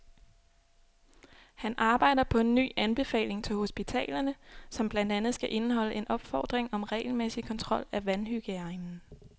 Han arbejder på en ny anbefaling til hospitalerne, som blandt andet skal indeholde en opfordring om regelmæssig kontrol af vandhygiejnen.